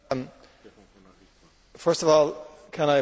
First of all, can I apologise to the Commissioner.